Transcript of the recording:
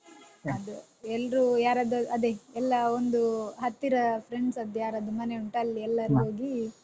ಅದೇ ಎಲ್ರೂ ಯಾರಾದ್ ಅದೇ ಎಲ್ಲ ಒಂದು ಹತ್ತಿರ friends ಅದ್ದು ಯಾರಾದ್ರೂ ಮನೆ ಉಂಟ ಅಲ್ಲಿ ಎಲ್ಲರೂ ಹೋಗಿ.